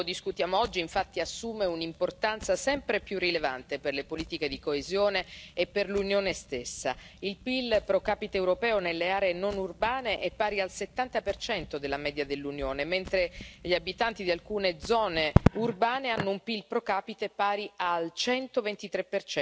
Quanto discutiamo oggi, infatti, assume un'importanza sempre più rilevante per le politiche di coesione e per l'Unione stessa. Il PIL pro capite europeo nelle aree non urbane è pari al 70 della media dell'Unione, mentre gli abitanti di alcune zone urbane hanno un PIL pro capite pari al 123